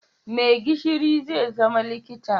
Maigishiri zai zama likita